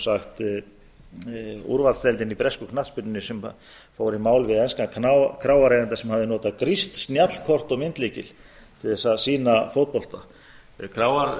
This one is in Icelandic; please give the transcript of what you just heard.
sagt úrvalsdeildin í ensku knattspyrnunni sem fór í mál við enskan kráareiganda sem hafði notað grískt snjallkort og myndlykil til að sýna fótbolta kráareigandinn tapaði að